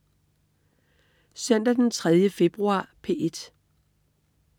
Søndag den 3. februar - P1: